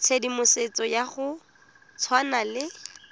tshedimosetso ya go tshwana le